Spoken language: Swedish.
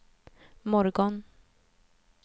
morgon